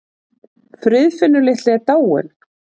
Friðfinnur litli er dáinn.